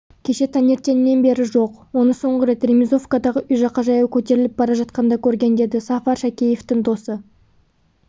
кеше таңертеңнен бері жоқ оны соңғы рет ремизовкадағы үй жаққа жаяу көтеріліп бара жатқанда көрген деді сафар шәкеевтің досы